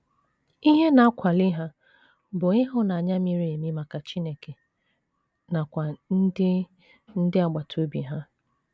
Ihe na - akwali ha bụ ịhụnanya miri emi maka Chineke nakwa ndị ndị agbata obi ha.